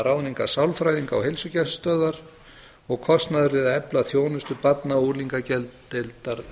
ráðningar sálfræðinga á heilsugæslustöðvar og kostnaður við að efla þjónustu barna og unglingageðdeildar